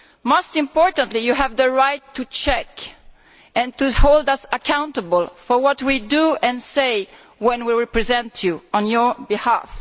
Most importantly, they have the right to check and to hold us accountable for what we do and say when we represent them on their behalf.